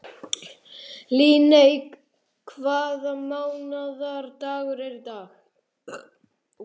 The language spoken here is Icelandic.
Líneik, hvaða mánaðardagur er í dag?